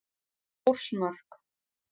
Þórsmörk